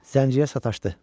Zəncirə sataşdı.